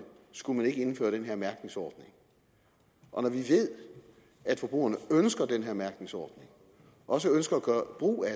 skulle man ikke indføre den her mærkningsordning og når vi ved at forbrugerne ønsker den her mærkningsordning og også ønsker at gøre brug af